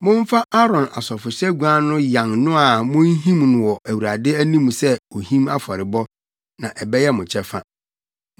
Momfa Aaron asɔfohyɛguan no yan no a munhim wɔ Awurade anim sɛ ohim afɔrebɔ, na ɛbɛyɛ mo kyɛfa.